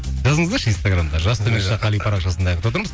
жазыңыздаршы инстаграмда жас төмен сызықша қали парақшасында